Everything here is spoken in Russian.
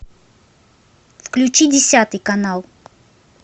включи десятый канал